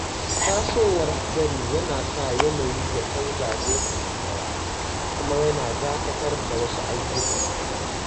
Tasowar hadari yana sa yanayi ya canza lokaci ɗaya, kuma yana dakatar da wasu ayyukan.